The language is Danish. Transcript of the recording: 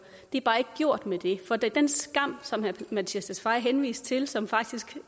det er bare ikke gjort med det for den skam som herre mattias tesfaye henviste til som faktisk